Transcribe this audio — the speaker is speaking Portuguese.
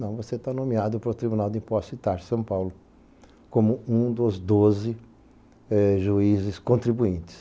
Não, você está nomeado para o Tribunal de Impostos e Taxas de São Paulo como um dos doze juízes contribuintes.